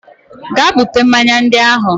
Gaa buta mmanya ndị ahụ!